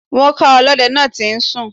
Wọn ká ọlọ́dẹ náà tí ń sùn.